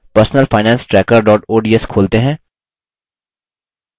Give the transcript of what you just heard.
personalfinancetracker ods खोलते हैं